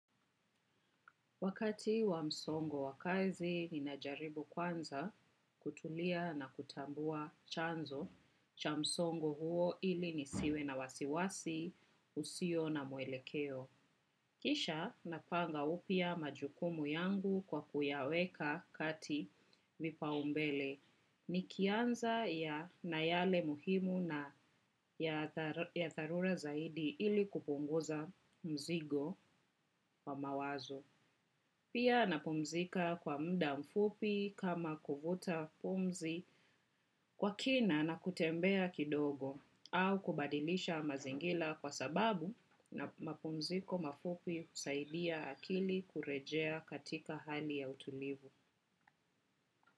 Wakati wa msongo wa kazi, ninajaribu kwanza kutulia na kutambua chanzo cha msongo huo ili nisiwe na wasiwasi, usio na mwelekeo. Kisha napanga upya majukumu yangu kwa kuyaweka kati vipaombele nikianza ya na yale muhimu na ya dharura zaidi ili kupunguza mzigo wa mawazo. Pia napumzika kwa muda mfupi kama kuvuta pumzi kwa kina na kutembea kidogo au kubadilisha mazingira kwa sababu na mapumziko mafupi husaidia akili kurejea katika hali ya utulivu.